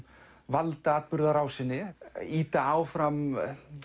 valda atburðarásinni ýta áfram